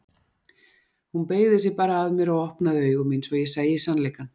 Hún beygði sig bara að mér og opnaði augu mín svo að ég sæi sannleikann.